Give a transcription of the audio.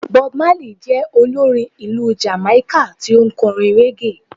Bob Marley je olorín ìlú Jamaika tí o n korín reggae